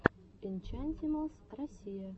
энчантималс россия